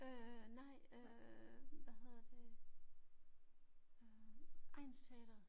Øj nej øh hvad hedder det øh egnsteatret